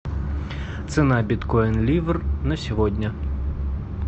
цена биткоин ливр на сегодня